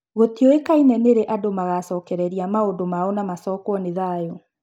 Gũtiũĩkaine nĩrĩ andũ magacokereria maũndũ mao na macokwo nĩ thayũ.